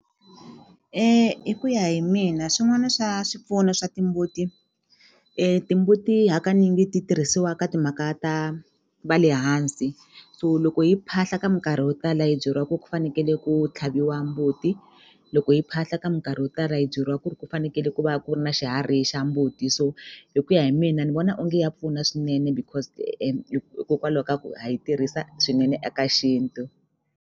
Hi ku ya hi mina swin'wana swa swipfuno swa timbuti timbuti hakanyingi ti tirhisiwa ka timhaka ta va le hansi so loko hi phahla ka minkarhi yo tala hi byeriwa ku ku fanekele ku tlhaviwa mbuti loko hi phahla ka mikarhi yo tala yi byeriwa ku ri ku fanekele ku va ku ri na xiharhi xa mbuti so hi ku ya hi mina ni vona onge ya pfuna swinene because hikokwalaho ka ku ha yi tirhisa swinene eka xintu.